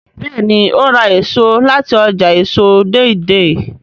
béèni o rà èso láti ọjà èso Deidei.